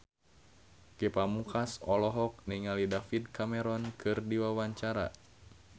Ge Pamungkas olohok ningali David Cameron keur diwawancara